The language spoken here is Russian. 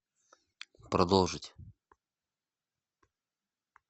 продолжить